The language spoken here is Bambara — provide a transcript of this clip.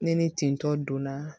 Ne ni ten tɔ donna